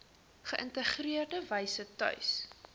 geïntegreerde wyse tuis